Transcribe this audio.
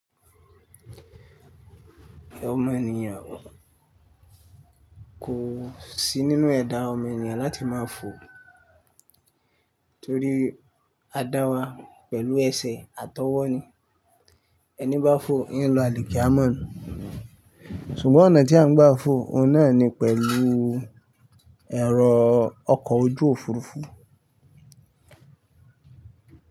Ọmọ ènìyàn kò sí nínú ẹ̀dà ọmọ ènìyàn láti máa fò torí a dá wa pẹ̀lú ẹsẹ̀ atọwọ́ ni. Ẹní bá fò, ín lo àlìkámo. Sùgbọ́n ọ̀nà tí à ń gbà fò, òun náà ni pẹ̀lú ẹ̀rọ ọkọ̀ ojú òfuurufú.